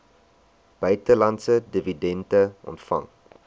buitelandse dividende ontvang